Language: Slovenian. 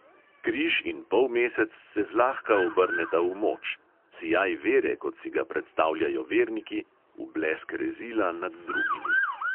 Križ in polmesec se zlahka obrneta v moč; sijaj vere, kot si ga predstavljajo verniki, v blesk rezila nad drugimi.